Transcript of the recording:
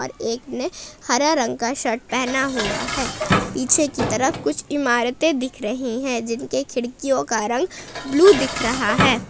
और एक ने हरा रंग का शर्ट पहना हुआ है पीछे की तरफ कुछ इमारतें दिख रही है जिनके खिड़कियों का रंग ब्लू दिख रहा है।